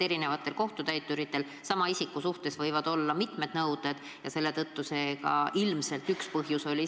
Eri kohtutäituritel võivad sama isiku suhtes mitmed nõuded olla ja see ilmselt oli üks põhjus.